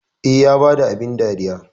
Eh, Ya bada abin dariyar